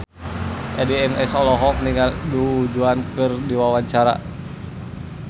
Addie MS olohok ningali Du Juan keur diwawancara